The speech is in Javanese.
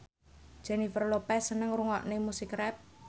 Jennifer Lopez seneng ngrungokne musik rap